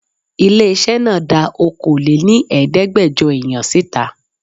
Ilé-iṣẹ́ náà dá Okòó lé ní Ẹ̀ẹ́dẹ́gbẹjọ èèyàn síta.